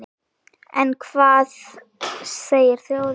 En hvað segir þjóðin?